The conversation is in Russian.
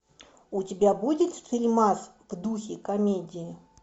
у тебя будет фильмас в духе комедии